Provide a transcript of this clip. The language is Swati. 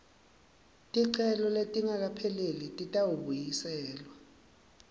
ticelo letingakapheleli titawubuyiselwa